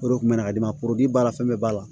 O de kun bɛ na ka di ne ma b'a la fɛn bɛɛ b'a la